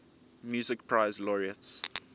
music prize laureates